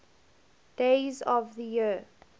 days of the year